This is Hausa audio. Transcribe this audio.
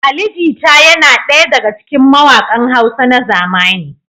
Ali Jita yana daya daga cikin mawaƙan Hausa na zamani.